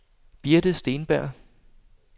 Birthe Steenberg